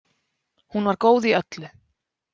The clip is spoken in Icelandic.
Hún var góð í öllu.